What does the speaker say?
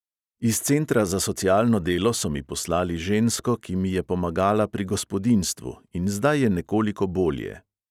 Iz centra za socialno delo so mi poslali žensko, ki mi je pomagala pri gospodinjstvu, in zdaj je nekoliko bolje.